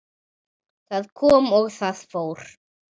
Það kom og það fór.